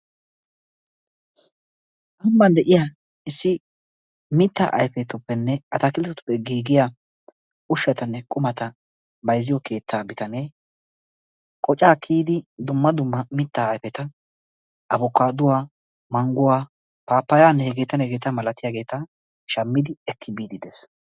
Nu ambban de'iya issi mittaa ayifetuppenne atakilttetuppe giigiya ushshatanne qumata bayizziyo keettaa bitane qocaa kiyidi dumma dumma mittaa ayifeta abukaadduwa, mangguwa, paappayaanne hegeetanne hegeeta malatiyageeta shammidi ekki biidi des.